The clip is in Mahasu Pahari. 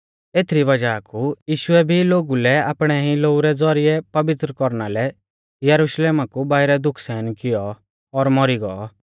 एथीई री वज़ाह कु यीशुऐ भी लोगु लै आपणै ई लोऊ रै ज़ौरिऐ पवित्र कौरना लै यरुशलेमा कु बाइरै दुःख सहन किऔ और मौरी गौ